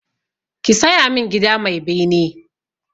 Ka saya min gida mai bene!